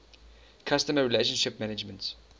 customer relationship management